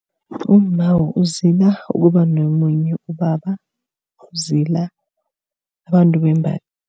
Umma uzila ukuba nomunye ubaba. Uzila abantu bembaji